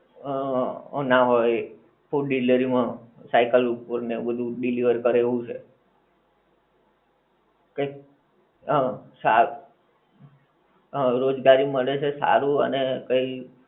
હં ના હોય. food delivery માં cycle ઉપર ને એવું બધુ delivery કરે એવું. કઈક હં, સા હં રોજ ગાડી મળે છે સારું અને કઈ